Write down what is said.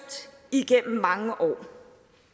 igennem mange år